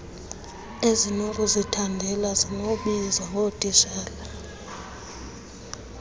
ezingokuzithandela zinokubizwa ngootitshala